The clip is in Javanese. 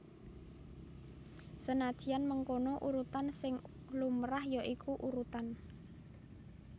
Senadyan mengkono urutan sing lumrah ya iku urutan